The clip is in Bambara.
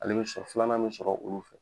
Ale be sɔrɔ filanan me sɔrɔ olu fɛ.